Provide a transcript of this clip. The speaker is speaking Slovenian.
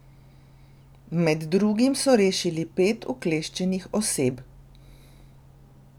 Med drugim so rešili pet ukleščenih oseb.